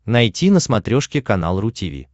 найти на смотрешке канал ру ти ви